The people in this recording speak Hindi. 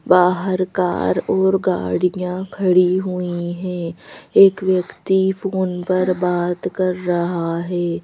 बाहर कार और गाड़ियां खड़ी हुई हैं एक व्यक्ति फोन पर बात कर रहा है।